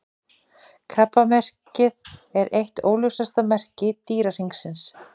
Krabbamerkið er eitt óljósasta merki Dýrahringsins.